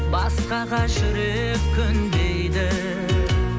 басқаға жүрек көнбейді